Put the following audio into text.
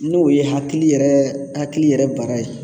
N'o ye hakili yɛrɛ hakili yɛrɛ baara ye